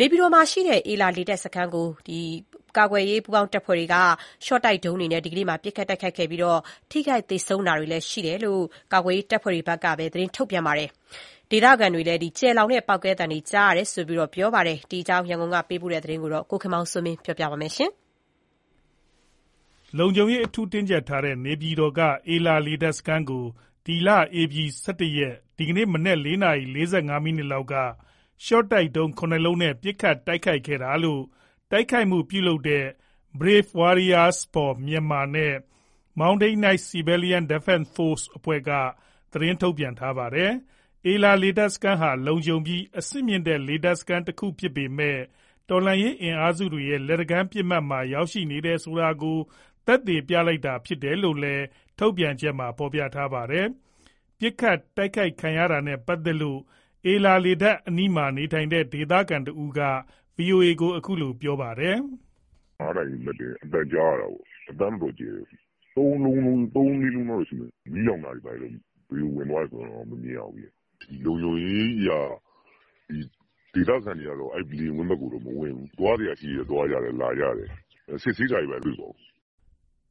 နေပြည်တော်မှာရှိတဲ့ အေလာ လေတပ်စခန်းကို ကာကွယ်ရေး တပ်ဖွဲ့တွေက ရှော့တိုက် ဒုံးတွေနဲ့ ဒီကနေ့ ပစ်ခတ်တိုက်ခိုက်ခဲ့ပြီး ထိခိုက် သေဆုံးတာတွေရှိတယ်လို့ ကာကွယ်ရေး တပ်ဖွဲ့တွေဘက်က သတင်းထုတ်ပြန်ထားပါတယ်။ ဒေသခံတွေလည်း ကျယ်လောင်တဲ့ ပေါက်ကွဲသံတွေ ကြားရတယ်လို့ ပြောပါတယ်။ ဒီအကြောင်း ရန်ကုန်ကပေးပို့တဲ့သတင်းကို အခြေခံပြီး ကိုခင်မောင်စိုးမင်းက ပြောပြပါမယ်။ လုံခြုံရေး အထူးတင်းကြပ်ထားတဲ့ နေပြည်တော်က အေလာ လေတပ်စခန်းကို ဧပြီလ ၁၁ ရက်၊ ဒီကနေ့ မနက် ၄ နာရီ ၄၅ မိနစ်ခန့်က ရှော့တိုက်ဒုံး ၇ လုံးနဲ့ ပစ်ခတ် တိုက်ခိုက်ခဲ့တာလို့ တိုက်ခိုက်မှု ပြုလုပ်ခဲ့တဲ့ Brave Warriors for Myanamar နဲ့ Moutain Knights–Civilian Defence Froce အဖွဲ့တွေက ထုတ်ပြန်ထားပါတယ်။ အေလာ လေတပ်ဟာ လုံခြုံပြီး အဆင့်မြင့်တဲ့ လေတပ်စခန်း တခုဖြစ်ပေမယ့် တော်လှန်ရေး အင်အားစုတွေရဲ့ လက်တကမ်းပစ်မှတ်မှာ ရောက်ရှိနေတယ်ဆိုတာကို သက်သေပြတာဖြစ်တယ်လို့ ထုတ်ပြန်ချက်ထဲမှာ ဖော်ပြထားပါတယ်။ ပစ်ခတ်တိုက်ခိုက်ခံရတာနဲ့ ပတ်သက်လို့ အေလာ လေတပ်အနီးမှာ နေထိုင်တဲ့ ဒေသခံတဦးက ဗွီအိုအေကို အခုလို ပြောပြပါတယ်။ “၅ နာရီ မတ်တင်းမှာ အသံကြားရတာပေါ့၊ အသံတော့ တော်တော်ကျယ်တယ်။ ၃-၄ လုံးလောက်တော့ ရှိမယ်။ မီးလောင်တာတွေ ဘယ်ကို ဝင်သွားတယ်ဆိုတာတွေတော့ မမြင်ရဘူး။ လုံခြုံရေးအရ ဒေသခံတွေကတော့ အဲ့လေယာဉ်ကွင်းဘက်ကို မဝင်ဘူး။ သွားစရာရှိရင် သွားကြတယ်၊ လာကြတယ်။ စစ်ဆေးတာတွေ ဘာတွေတော့ မ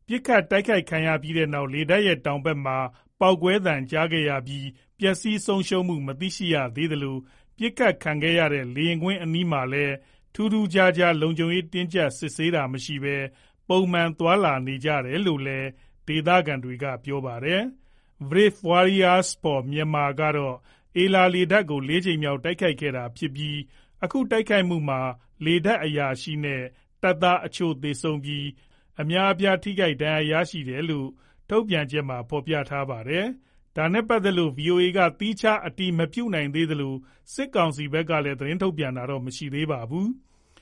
တွေ့ပါဘူး။” ပစ်ခတ်ခံရပြီးနောက် လေတပ်ရဲ့ တောင်ဘက်မှာ ပေါက်ကွဲသံကြားခဲ့ရပြီး ပျက်စီး ဆုံးရှုံးမှု မသိရှိရသေးသလို ပစ်ခတ်ခံရတဲ့ လေယာဉ်ကွင်းအနီးမှာလည်း ထူးထူးခြားခြား လုံခြုံရေး တင်းကြပ်စစ်ဆေးတာမရှိဘဲ ပုံမှန်သွားလာနေကြတယ်လို့လည်း ဒေသခံတွေက ပြောပါတယ်။ Brave Warriors for Myanamar ကတော့ အေလာလေတပ်ကို ၄ ကြိမ်မြောက် တိုက်ခိုက်ခဲ့တာဖြစ်ပြီး အခုတိုက်ခိုက်မှုမှာ လေတပ်အရာရှိနဲ့ တပ်သားအချို့ သေဆုံးပြီး အများအပြား ထိခိုက်ဒဏ်ရာရတယ်လို့ ထုတ်ပြန်ချက်ထဲမှာဖော်ပြထားပါတယ်။ ဒါနဲ့ ပတ်သက်လို့ ဗွီအိုအေက သီးခြား အတည်မပြုနိုင်သေးသလို စစ်ကောင်စီဘက်ကလည်း သတင်းထုတ်ပြန်တာတော့ မရှိသေးပါဘူး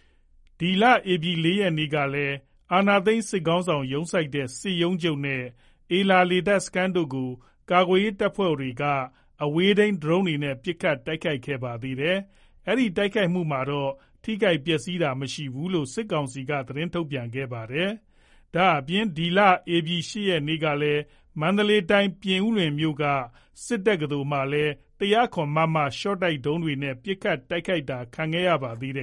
။ ပြီးခဲ့တဲ့ ဧပြီ ၄ ရက်ကလည်း အာဏာသိမ်း စစ်ခေါင်းဆောင် ရုံးစိုက်တဲ့ စစ်ရုံးချုပ်နဲ့ အေလာ လေတပ်စခန်းတို့ကို ကာကွယ်ရေး တပ်ဖွဲ့တွေက အဝေးထိန်း ဒရုန်းတွေနဲ့ ပစ်ခတ် တိုက်ခိုက်ခဲ့ပါသေးတယ်။ အဲဒီ တိုက်ခိုက်မှုမှာတော့ ထိခိုက်ပျက်စီးတာမရှိဘူးလို့ စစ်ကောင်စီက သတင်းထုတ်ပြန်ထားပါတယ်။ ဒါ့အပြင် ဧပြီ ၈ ရက်နေ့ကလည်း မန္တလေးတိုင်း၊ ပြင်ဦးလွင်မြို့က စစ်တက္ကသိုလ်လည်း ၁၀၇ မမ ရှော့တိုက်ဒုံးတွေနဲ့ ပစ်ခတ် တိုက်ခိုက်ခံခဲ့ရပါသေးတယ်